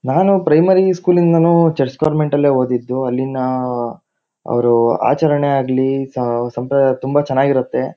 ನಾನು primary school ಯಿಂದಾನೂ church convent ಅಲ್ಲೇ ಓದಿದ್ದು. ಅಲ್ಲಿನಾ ಆಅ ಅವ್ರು ಆಚರಣೆ ಆಗ್ಲಿ ಸ ಸಂಪ್ರದಾಯ ತುಂಬಾ ಚನಾಗಿರತ್ತೆ.